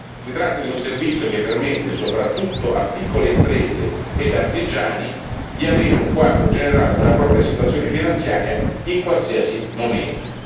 Si tratta di un servizio che permette soprattutto a piccole imprese ed artigiani di avere un quadro generale della propria situazione finanziaria in qualsiasi momento.